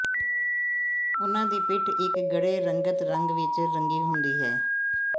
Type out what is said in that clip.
ਉਨ੍ਹਾਂ ਦੀ ਪਿੱਠ ਇੱਕ ਗੂੜ੍ਹੇ ਰੰਗਤ ਰੰਗ ਵਿੱਚ ਰੰਗੀ ਹੁੰਦੀ ਹੈ